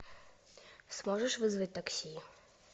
сможешь вызвать такси